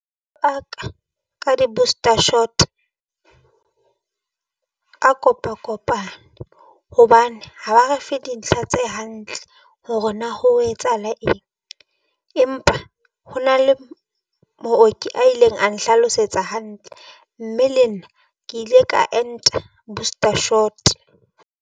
Ka ka di-booster shot a kopa-kopane hobane ha ba re fe dintlha tse hantle hore na ho etsahala eng, empa ho na le mooki a ileng a nhlalosetsa hantle, mme le nna ke ile ka enta a booster shot.